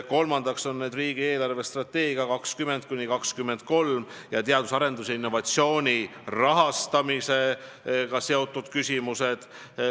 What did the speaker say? Kolmandaks on seal arutelul riigi eelarvestrateegia aastateks 2020–2023 ning teadus- ja arendustegevuse ja innovatsiooni rahastamisega seotud küsimused.